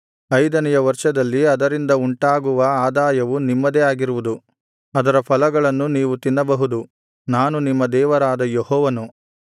ಐದನೆಯ ವರ್ಷದಲ್ಲಿ ಅದರಿಂದ ಉಂಟಾಗುವ ಆದಾಯವು ನಿಮ್ಮದೇ ಆಗಿರುವುದು ಅದರ ಫಲಗಳನ್ನು ನೀವು ತಿನ್ನಬಹುದು ನಾನು ನಿಮ್ಮ ದೇವರಾದ ಯೆಹೋವನು